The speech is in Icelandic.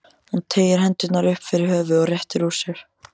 Hún teygir hendurnar upp fyrir höfuðið og réttir úr sér.